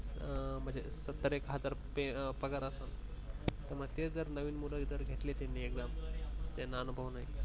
अ मग ते सत्तर एक हजार पगार असेल ते म्हनजे जर नवीन मुलं घेतले त्यांनी म्हणजे त्यांना अनुभव नाही